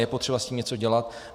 Je potřeba s tím něco dělat.